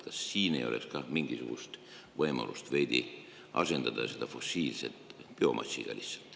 Kas ei oleks mingisugust võimalust asendada fossiilset biomassiga?